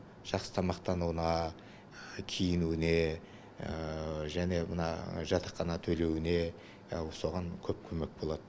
жақсы тамақтануына киінуіне және мына жатақхана төлеуіне соған көп көмек болады